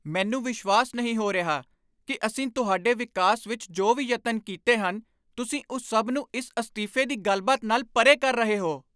ਮੈਨੂੰ ਵਿਸ਼ਵਾਸ ਨਹੀਂ ਹੋ ਰਿਹਾ ਕਿ ਅਸੀਂ ਤੁਹਾਡੇ ਵਿਕਾਸ ਵਿੱਚ ਜੋ ਵੀ ਯਤਨ ਕੀਤੇ ਹਨ, ਤੁਸੀਂ ਉਸ ਸਭ ਨੂੰ ਇਸ ਅਸਤੀਫੇ ਦੀ ਗੱਲਬਾਤ ਨਾਲ ਪਰੇ ਕਰ ਰਹੇ ਹੋ।